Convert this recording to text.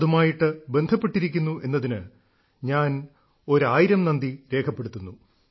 അതുമായിട്ട് ബന്ധപ്പെട്ടിരിക്കുന്നു എന്നതിന് ഞാൻ ഒരായിരം നന്ദി രേഖപ്പെടുത്തുന്നു